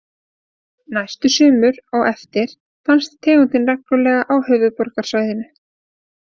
Næstu sumur á eftir fannst tegundin reglulega á höfuðborgarsvæðinu.